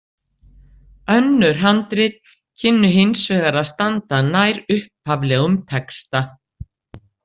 Önnur handrit kynnu hins vegar að standa nær upphaflegum texta.